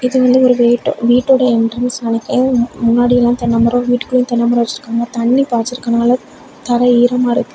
இது வந்து ஒரு கேட் வீட்டோட என்ட்ரன்ஸ் நினைக்கிறேன் முன்னாடியெல்லா தென்னைமரோ வீட்டுக்குள்ள தென்னை மரம் வச்சிருக்காங்க தண்ணி பாய்ச்சி இருக்கிறதனால தரை ஈரமா இருக்கு.